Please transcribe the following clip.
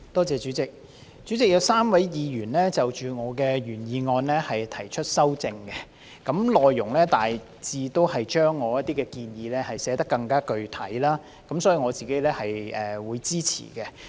主席，有3位議員就我的原議案提出修正案，內容大致是把我的一些建議寫得更具體，因此我是會支持的。